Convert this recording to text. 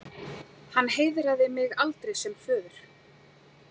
Hann heiðraði mig aldrei sem föður.